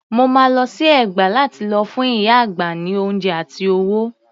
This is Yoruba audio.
Mo máa lọ sí Ẹ̀gbá lá ti lọ fún ìyá àgbà ní oúnjẹ àti owó.